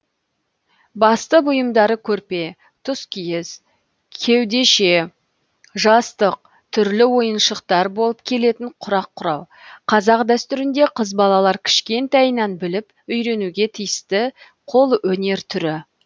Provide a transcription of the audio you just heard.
басты бұйымдары көрпе тұскиіз кеудеше жастық түрлі ойыншықтар болып келетін құрақ құрау қазақ дәстүрінде қыз балалар кішкентайынан біліп үйренуге тиісті қолөнер түрі